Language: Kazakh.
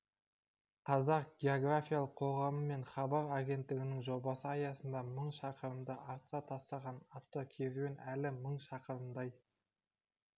қазақ географиялық қоғамы мен хабар агенттігінің жобасы аясында мың шақырымды артқа тастаған автокеруен әлі мың шақырымдай